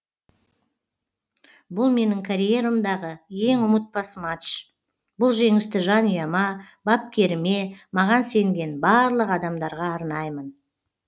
бұл менің карьерамдағы ең ұмытпас матч бұл жеңісті жанұяма бапкеріме маған сенген барлық адамдарға арнаймын